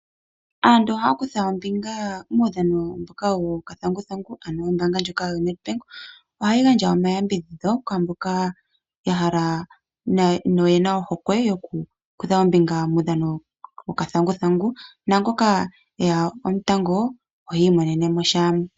Aantu ohaya kutha ombinga muudhano mboka wokathanguthangu, ano ombaanga ndjoka yo NedBank ohayi gandja omayambidhidho kwaa mboka ya hala noyena ohokwe yo ku kutha ombinga muudhano wokathanguthangu. Naangoka e ya omutango ohi imonene mo sha.